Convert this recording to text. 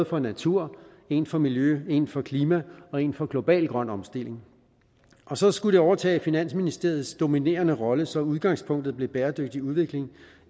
for natur en for miljø en for klima og en for global grøn omstilling og så skulle det overtage finansministeriets dominerende rolle så udgangspunktet blev bæredygtig udvikling